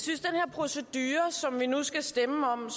procedure som vi nu skal stemme om